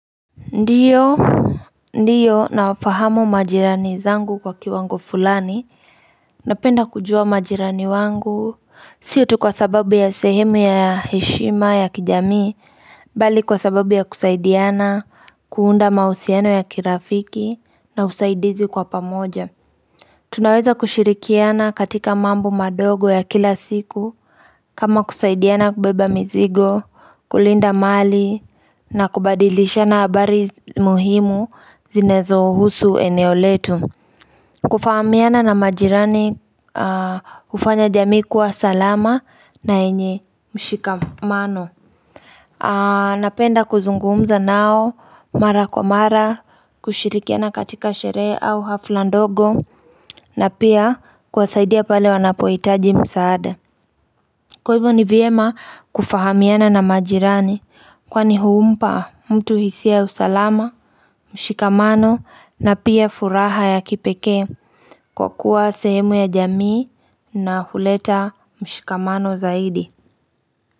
Ndiyo, ndiyo nafahamu majirani zangu kwa kiwango fulani, napenda kujua majirani wangu, sio tu kwa sababu ya sehemu ya heshima ya kijami, bali kwa sababu ya kusaidiana, kuunda mahusiano ya kirafiki na usaidizi kwa pamoja. Tunaweza kushirikiana katika mambo madogo ya kila siku kama kusaidiana kubeba mizigo, kulinda mali na kubadilishana habari muhimu zinazohusu eneo letu. Kufahamiana na majirani hufanya jamii kuwa salama na yenye mshikamano. Napenda kuzungumza nao mara kwa mara kushirikiana katika sherehe au hafla ndogo na pia kuwasaidia pale wanapohitaji msaada Kwa hivyo ni vyema kufahamiana na majirani kwani humpa mtu hisia ya usalama, mshikamano na pia furaha ya kipekee kwa kuwa sehemu ya jamii na huleta mshikamano zaidi.